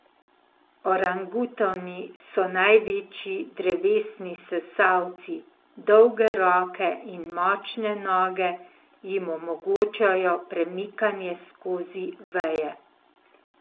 Orangutani so največji drevesni sesalci, dolge roke in močne noge jim omogočajo premikanje skozi veje.